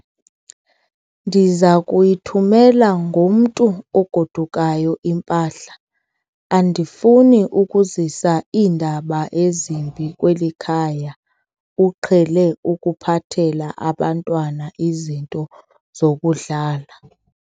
Ndiza kuyithumela ngomntu ogodukayo impahla. andifuni ukuzisa iindaba ezimbi kweli khaya, uqhele ukuphathela abantwana izinto zokudlala